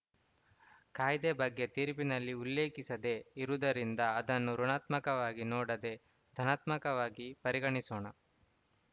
ಕಾಯ್ದೆ ಬಗ್ಗೆ ತೀರ್ಪಿನಲ್ಲಿ ಉಲ್ಲೇಖಿಸದೇ ಇರುವುದರಿಂದ ಅದನ್ನು ಋುಣಾತ್ಮಕವಾಗಿ ನೋಡದೇ ಧನಾತ್ಮಕವಾಗಿ ಪರಿಗಣಿಸೋಣ